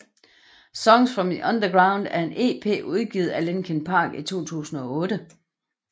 Songs from the Underground er en EP udgivet af Linkin Park i 2008